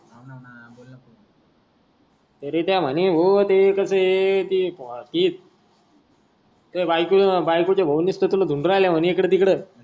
रित्या म्हणे ते कस आहे त्या बायकोचे भाऊ निसत तुले दुनडून राहले म्हणे एकळ टिकळ.